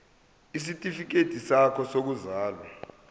isitifikedi sakho sokuzalwa